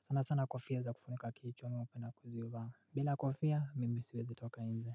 Sana sana kofia za kufunika kiicho mimi upenda kuzivaa bila kofia mimi siwezi tukainze.